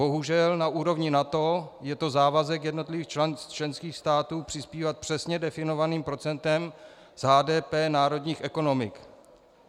Bohužel na úrovni NATO je to závazek jednotlivých členských států přispívat přesně definovaným procentem z HDP národních ekonomik.